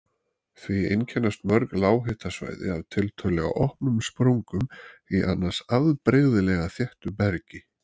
Því einkennast mörg lághitasvæði af tiltölulega opnum sprungum í annars afbrigðilega þéttu bergi.